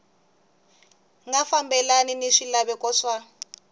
nga fambelani ni swilaveko swa